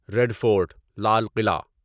red Fort Lal Qila